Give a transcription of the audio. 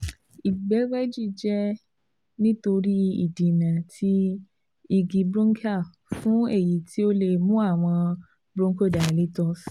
Igbegbeji jẹ nitori idena ti igi bronchial, fun eyi ti o le mu awọn bronchodilators